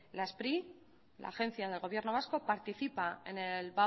la spri la agencia del gobierno vasco participa